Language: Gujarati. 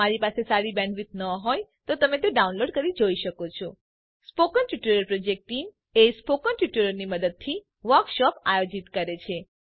જો તમારી પાસે સારી બેન્ડવિડ્થ ન હોય તો તમે ડાઉનલોડ કરી તે જોઈ શકો છો spoken tutorial project team spoken ટ્યુટોરીયલોની મદદથી વર્કશોપ આયોજિત કરે છે